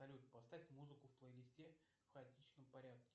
салют поставь музыку в плейлисте в хаотичном порядке